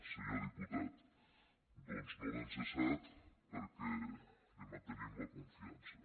senyor diputat doncs no l’hem cessat perquè li mantenim la confiança